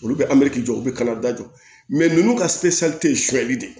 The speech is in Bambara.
Olu bɛ jɔ u bɛ kalada jɔ ninnu ka de